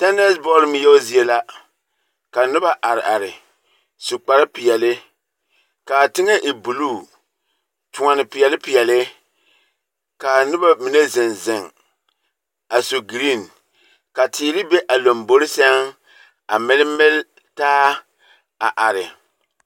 Tɛɛnsebɔl ŋmeɛo zie la, ka noba are are, su kparepeɛle, kaa teŋɛ e buluu, toɔne peɛle peɛle, kaa noba mine zeŋ zeŋ, a su giriiŋ, ka teere be a lambori sɛŋ a mele mele taa, a are.